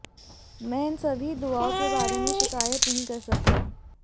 मैं इन सभी दुआओं के बारे में शिकायत नहीं कर सकता